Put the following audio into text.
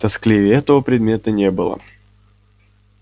тоскливее этого предмета не было